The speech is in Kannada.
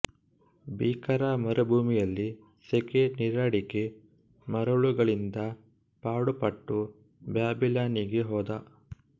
ಭೀಕರ ಮರುಭೂಮಿಯಲ್ಲಿ ಸೆಕೆ ನೀರಡಿಕೆ ಮರಳುಗಳಿಂದ ಪಾಡುಪಟ್ಟು ಬ್ಯಾಬಿಲಾನಿಗೆ ಹೋದ